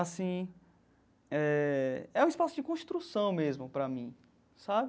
Assim eh... É um espaço de construção mesmo para mim, sabe?